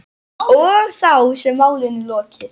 Og þá sé málinu lokið.